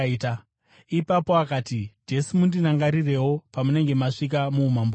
Ipapo akati, “Jesu, mundirangarirewo pamunenge masvika muumambo hwenyu.”